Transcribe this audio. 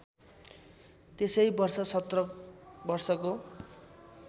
त्यसै वर्ष १७ वर्षको